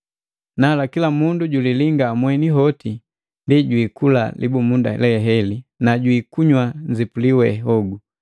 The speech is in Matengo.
Nala, kila mundu julilinga mweni hoti, ndi jwiikula libumunda leheli na jwiikunywa nzipuli we hogu,